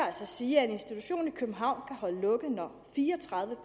altså sige at en institution i københavn kan holde lukket når fire og tredive